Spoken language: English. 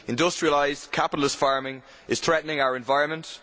Industrialised capitalist farming is threatening our environment.